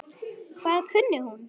Hvað kunni hún?